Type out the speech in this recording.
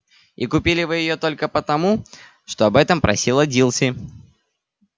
и купили вы её только потому что об этом просила дилси